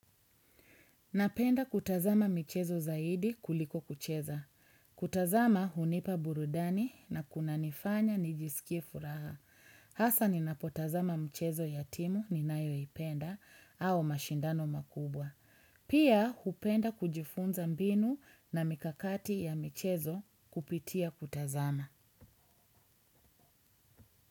Napenda kutazama mchezo zaidi kuliko kucheza. Kutazama hunipa burudani na kuna nifanya nijisikie furaha. Hasa ni napotazama mchezo yatimu ninayo ipenda au mashindano makubwa. Pia hupenda kujifunza mbinu na mikakati ya mchezo kupitia kutazama.